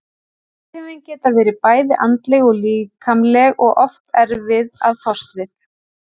Áhrifin geta verið bæði andleg og líkamleg og oft erfið að fást við.